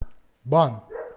бан